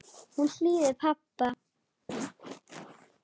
Hún hlýðir pabba.